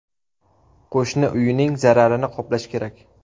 Qo‘shni uyining zararini qoplash kerak.